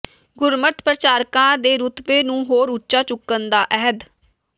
ਗੁਰਮਤਿ ਪ੍ਰਚਾਰਕਾਂ ਦੇ ਰੁਤਬੇ ਨੂੰ ਹੋਰ ਉੱਚਾ ਚੁੱਕਣ ਦਾ ਅਹਿਦ